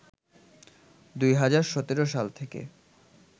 ২০১৭ সাল থেকে